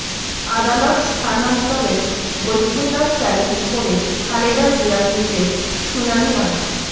আদালত স্থানান্তরের বৈধতা চ্যালেঞ্জ করে খালেদা জিয়ার রিটের শুনানি আজ